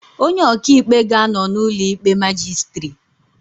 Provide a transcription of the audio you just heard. Onye ọka ikpe ga-anọ n'ụlọ ikpe majistiri